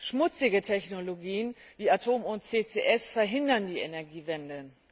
Schmutzige Technologien, wie Atomkraft und CCS, verhindern die Energiewende.